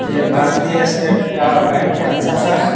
और ये भारतीय स्टेट का बैंक है अच्छा सा --